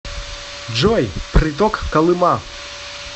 джой приток колыма